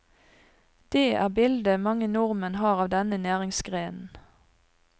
Det er bildet mange nordmenn har av denne næringsgrenen.